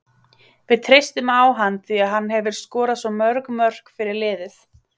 Við treystum á hann því að hann hefur skorað svo mörg mörk fyrir liðið.